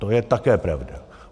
To je také pravda.